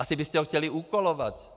Asi byste ho chtěli úkolovat.